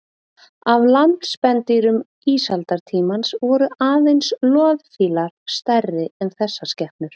Af landspendýrum ísaldartímans voru aðeins loðfílar stærri en þessar skepnur.